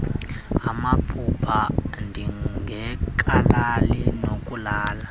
amaphupha ndingekalali nokulala